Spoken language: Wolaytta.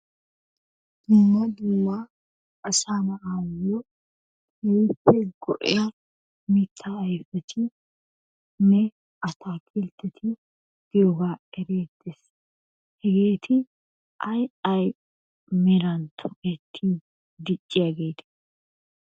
Dumma dumma asaa naa'aayo keehippe go'iya mita ayfetinne attaakilteti diyogaa erettees. Hageeti ayi ayi meran tokketi dicciyageete?